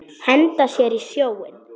Henda sér í sjóinn?